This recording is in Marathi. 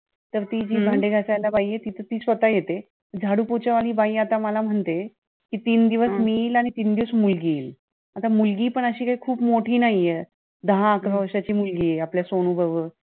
तर, ती जी भांडे घासायला बाई आहे, ती तर ती स्वतः येते. झाडू पोछा वाली बाई आता मला म्हणते कि तीन दिवस मी येईल आणि तीन दिवस मुलगी येईल. आता मुलगी पण अशी काही खूप मोठी नाहीये. दहा अकरा वर्षाची मुलगी आहे आपल्या सोनू बरोबर.